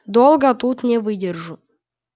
долго тут не выдержу